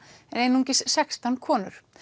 einungis sextán konur